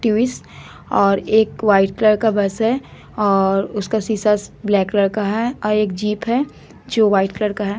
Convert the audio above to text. टूवीस और एक white colour का बस हैं और उसका शीशास ब्लैक कलर का हैं और एक जीप हैं जो वाईट कलर का हैं ।